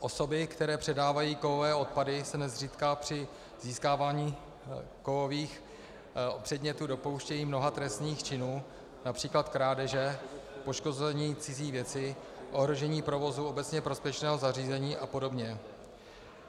Osoby, které předávají kovové odpady, se nezřídka při získávání kovových předmětů dopouštějí mnoha trestných činů, například krádeže, poškození cizí věci, ohrožení provozu obecně prospěšného zařízení a podobně.